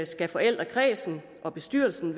skal forældrekredsen og bestyrelsen